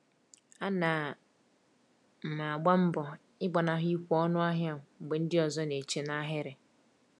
Ana m agba mbọ ịgbanahụ ikwe ọnụ ahịa mgbe ndị ọzọ na-eche n’ahịrị.